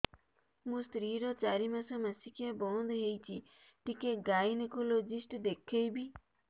ମୋ ସ୍ତ୍ରୀ ର ଚାରି ମାସ ମାସିକିଆ ବନ୍ଦ ହେଇଛି ଟିକେ ଗାଇନେକୋଲୋଜିଷ୍ଟ ଦେଖେଇବି